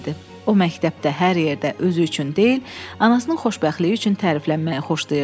O məktəbdə hər yerdə özü üçün deyil, anasının xoşbəxtliyi üçün təriflənməyi xoşlayırdı.